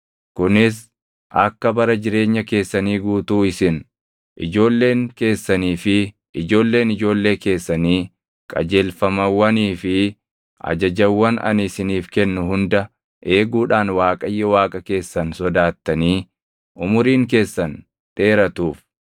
kunis akka bara jireenya keessanii guutuu isin, ijoolleen keessanii fi ijoolleen ijoollee keessanii qajeelfamawwanii fi ajajawwan ani isiniif kennu hunda eeguudhaan Waaqayyo Waaqa keessan sodaattanii umuriin keessan dheeratuuf.